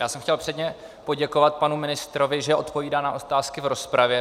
Já jsem chtěl předně poděkovat panu ministrovi, že odpovídá na otázky v rozpravě.